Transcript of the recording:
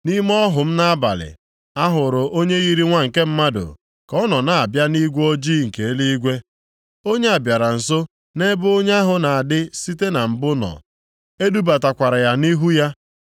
“Nʼime ọhụ m nʼabalị, a hụrụ onye yiri nwa nke mmadụ, ka ọ nọ na-abịa nʼigwe ojii nke eluigwe. Onye a bịara nso nʼebe onye ahụ na-adị site na mbụ nọ. E dubatakwara ya nʼihu ya.